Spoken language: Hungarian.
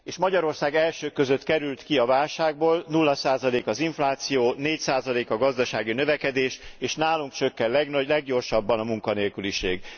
Magyarország az elsők között került ki a válságból, nulla százalék az infláció, négy százalék a gazdasági növekedés, és nálunk csökken a leggyorsabban a munkanélküliség.